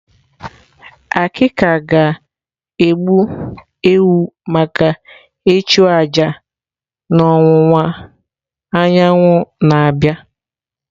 Akika ga-egbu ewu maka ịchụ aja n'ọwụwa anyanwụ na-abịa.